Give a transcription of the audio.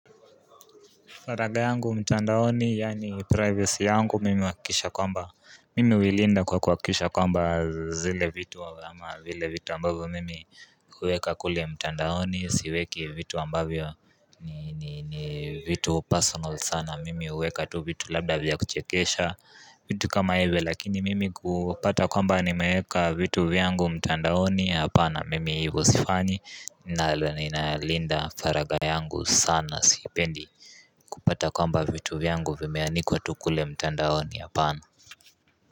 Faraga yangu mtandaoni yani privacy yangu mimi huakikisha kwamba, mimi huilinda kwa kuhakikisha kwamba zile vitu ama vile vitu ambavyo mimi huweka kule mtandaoni siweki vitu ambavyo ni ni vitu personal sana mimi huweka tu vitu labda vya kuchekesha vitu kama hivyo, lakini mimi kupata kwamba nimeweka vitu vyangu mtandaoni hapana mimi hivo sifanyi nalo ninalinda faragha yangu sana sipendi kupata kwamba vitu vyangu vimeanikwa tu kule mtandaoni, hapana.